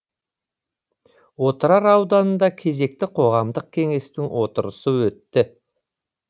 отырар ауданында кезекті қоғамдық кеңестің отырысы өтті